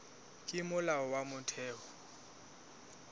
ke molao wa motheo ho